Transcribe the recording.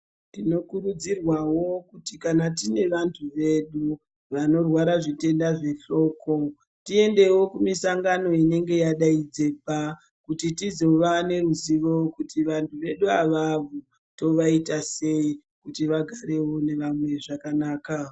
Tinokurudzirwa kuti kana tine vantu vedu vanorwara zvitenda zvehloko tiendewo kumisangano inenge yadaidzirwa kuti tizova neruzivo kuti vandu vedu ava tova ita sei kuti vagarewo nevamwe zvakanaka.